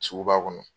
Sugu ba kɔnɔ